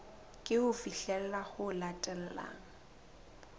ke ho fihlela ho latelang